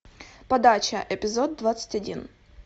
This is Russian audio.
подача эпизод двадцать один